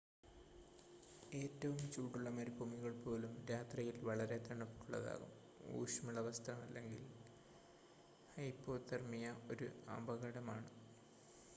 ഏറ്റവും ചൂടുള്ള മരുഭൂമികൾ പോലും രാത്രിയിൽ വളരെ തണുപ്പുള്ളതാകും ഊഷ്‌മള വസ്ത്രം ഇല്ലെങ്കിൽ ഹൈപ്പോതെർമിയ ഒരു അപകടമാണ്